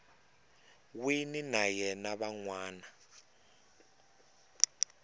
wini na ya van wana